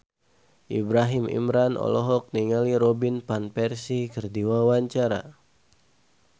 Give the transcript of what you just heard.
Ibrahim Imran olohok ningali Robin Van Persie keur diwawancara